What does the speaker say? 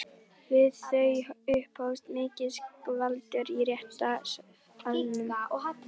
Við þau upphófst mikið skvaldur í réttarsalnum.